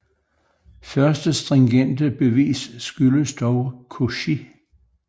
Første stringente bevis skyldes dog Cauchy